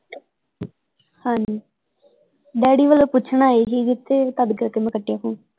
ਹਾਂਜੀ ਡੈਡੀ ਵੱਲੋਂ ਪੁੱਛਣ ਆਏ ਹੀ ਕਿਥੇ ਤਦ ਕਰਕੇ ਮੈਂ ਕੱਟਿਆ ਫੋਨ।